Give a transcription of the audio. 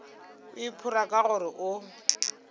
o iphora ka gore o